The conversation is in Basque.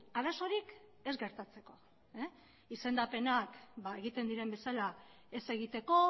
arazorik ez gertatzeko izendapenak egiten diren bezala ez egiteko